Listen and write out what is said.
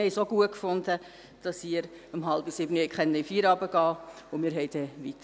Aber wir fanden es auch gut, dass Sie um 18.30 Uhr in den Feierabend gehen konnten, und arbeiteten dann weiter.